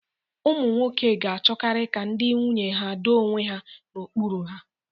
Ụmụ nwoke ga-achọkarị ka ndị nwunye ha doo onwe ha n'okpuru ha.